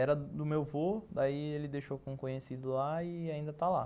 Era do meu vô, daí ele deixou com o conhecido lá e ainda está lá.